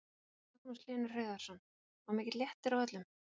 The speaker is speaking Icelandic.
Magnús Hlynur Hreiðarsson: Og mikill léttir á öllum?